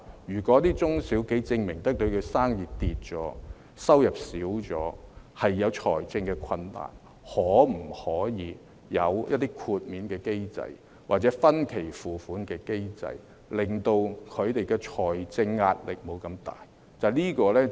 如果中小企能夠證明生意下跌、收入減少、面對財政困難，可否有一些豁免機制，或分期付款的機制，令他們的財政壓力得以減輕？